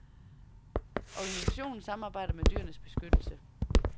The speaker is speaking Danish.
Organisationen samarbejder med dyrenes beskyttelse.